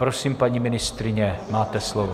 Prosím, paní ministryně, máte slovo.